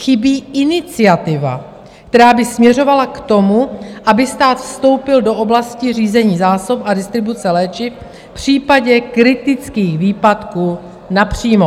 Chybí iniciativa, která by směřovala k tomu, aby stát vstoupil do oblasti řízení zásob a distribuce léčiv v případě kritických výpadků napřímo.